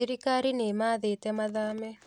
Thirikari nĩĩmathĩte mathame